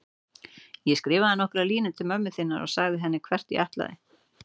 Ég skrifaði nokkrar línur til mömmu þinnar og sagði henni hvert ég ætlaði.